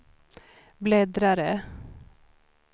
bläddrare